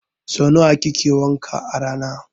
Sau nawa kike wanka a rana?